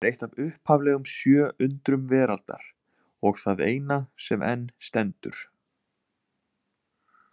Hann er eitt af upphaflegum sjö undrum veraldar og það eina sem enn stendur.